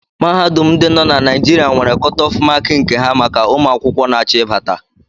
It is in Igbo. Mahadum ndi dị na Naijiria nwere kotof mááki nke ha maka ụmụ akwụkwọ n'acho ibata